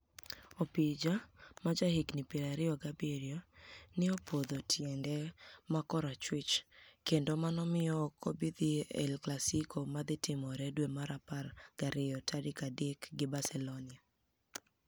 Opija, ma jahiginii piero ariyo gi abiryo, ni e opodho tienide ma korachwich, kenido mano miyo ok obi dhi e El Classico ma dhi timore dwe mar apar gi ariyo tarik adek gi Barcelonia.